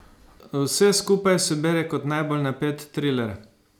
Vse skupaj se bere kot najbolj napet triler.